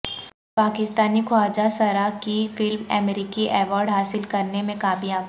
پاکستانی خواجہ سرا کی فلم امریکی ایوارڈ حاصل کرنے میں کامیاب